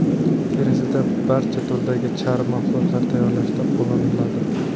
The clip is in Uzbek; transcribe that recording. Terisidan barcha turdagi charm mahsulotlari tayyorlashda qo‘llaniladi.